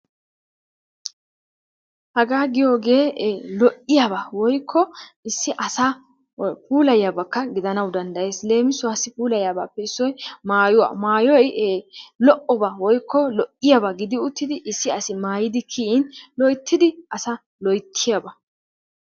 Hagaa giyoogee lo"iyaaba woyikko issi asa puulayiyaabakka gidanawu dandayes. Leemisuwaassi puulayiyaabaappe issoy maayuwa. Maayoyi lo"oba woyikko lo"iyaaba gidi uttidi issi asi maayidi kiyin loyittidi as loyittiyaaba.